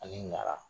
Ani ɲara